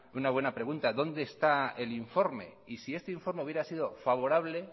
una buena pregunta dónde está el informe y si este informe hubiera sido favorable